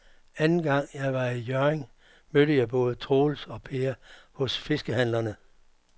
Anden gang jeg var i Hjørring, mødte jeg både Troels og Per hos fiskehandlerne.